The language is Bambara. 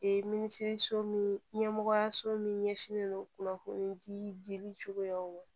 minisiriso min ɲɛmɔgɔyaso min ɲɛsinnen don kunnafoni dili cogoyaw ma